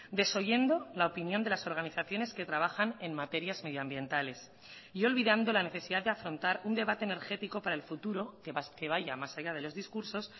desoyendo la opinión de las organizaciones que trabajan en materias medioambientales y olvidando la necesidad de afrontar un debate energético para el futuro que vaya más allá de los discursos